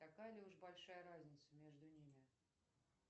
такая ли уж большая разница между ними